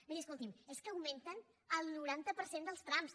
miri escolti’m és que augmenten el noranta per cent dels trams